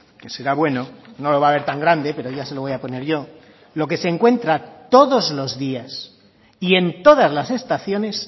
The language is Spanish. que será bueno no lo va a ver tan grande pero ya se lo voy a poner yo lo que se encuentra todos los días y en todas las estaciones